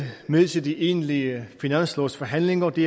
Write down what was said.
med til de egentlige finanslovsforhandlinger og det